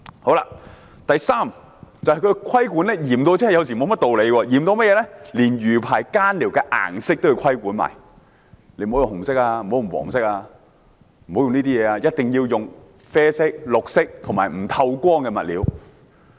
此外，我想指出有些規管是嚴厲得沒有甚麼道理的，連魚排上用作更寮的小屋顏色也要規管，不可用紅色，不可用黃色，一定要用啡色、綠色和不透光的物料。